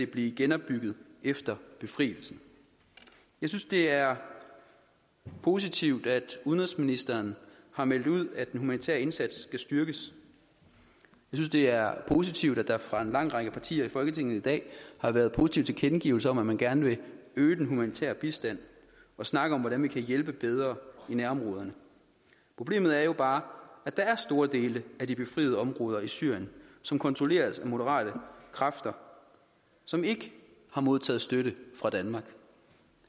blive genopbygget efter befrielsen jeg synes det er positivt at udenrigsministeren har meldt ud at den humanitære indsats skal styrkes jeg synes det er positivt at der fra en lang række partier i folketinget i dag har været positive tilkendegivelser man gerne vil øge den humanitære bistand og snakke om hvordan vi kan hjælpe bedre i nærområderne problemet er jo bare at der er store dele af de befriede områder i syrien som kontrolleres af moderate kræfter som ikke har modtaget støtte fra danmark